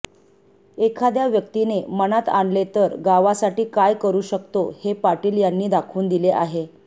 एखाद्या व्यक्तीने मनात आणले तर गावासाठी काय करु शकतो हे पाटील यांनी दाखवून दिले आहे